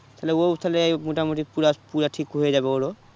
তাহলে ও উ তাহলে মোটামোটি পুরা পুরা ঠিক হয়ে যাবে ওর ও